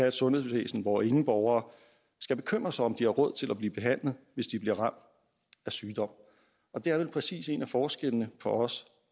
et sundhedsvæsen hvor ingen borgere skal bekymre sig om om de har råd til at blive behandlet hvis de bliver ramt af sygdom og det er vel præcis en af forskellene på os